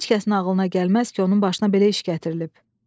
Heç kəsin ağlına gəlməz ki, onun başına belə iş gətirilib.